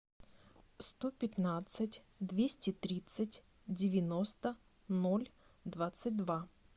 сто пятнадцать двести тридцать девяносто ноль двадцать два